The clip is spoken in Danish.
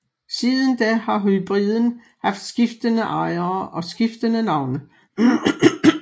Siden da har hybriden haft skiftende ejere og skiftende navne